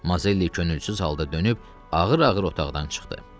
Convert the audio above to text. Mazelli könülsüz halda dönüb ağır-ağır otaqdan çıxdı.